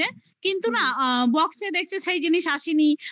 করেছে. কিন্তু না আ box দেখছে সেই জিনিস আসেনি